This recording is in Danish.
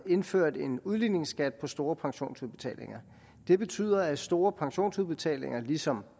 indført en udligningsskat på store pensionsudbetalinger det betyder at store pensionsudbetalinger ligesom